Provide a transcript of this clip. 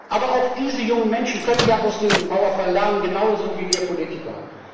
Aber auch diese jungen Menschen können ja aus dem Mauerfall lernen, genauso wie wir Politiker.